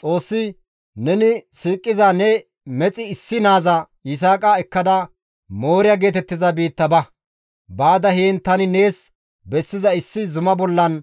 Xoossi, «Neni siiqiza ne mexi issi naaza Yisaaqa ekkada Mooriya geetettiza biitta ba; baada heen tani nees bessiza issi zuma bollan